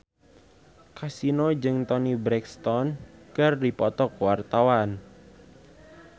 Kasino jeung Toni Brexton keur dipoto ku wartawan